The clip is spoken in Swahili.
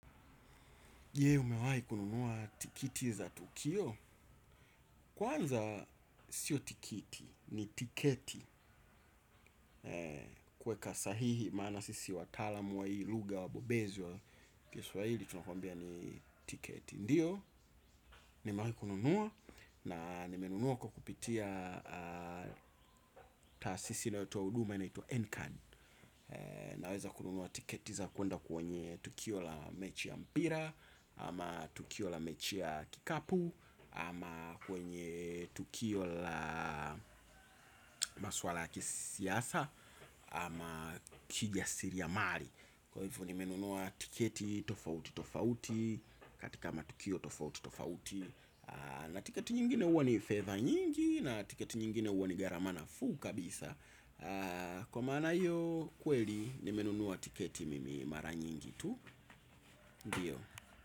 Je, umewahi kununua tikiti za tukio. Kwanza sio tikiti ni tiketi. Kuweka sahihi maana sisi wataalam wa hii lugha wabobezi wa kiswahili tunakwambia ni tiketi. Ndiyo, nimewahi kununua na nimenunua kwa kupitia taasisi inayotoa huduma inaitwa Nkan. Naweza kununua tiketi za kuenda kwenye tukio la mechi ya mpira. Ama tukio la mechi ya kikapu ama kwenye tukio la maswala ya kisiasa. Ama kijasiriamali. Kwa hivyo nimenunua tiketi tofauti tofauti katika matukio tofauti tofauti. Na tiketi nyingine huwa ni favor nyingi na tiketi nyingine huwa ni gharama nafuu kabisa. Kwa maana hiyo kweli nimenunua tiketi mimi mara nyingi tu. Ndiyo.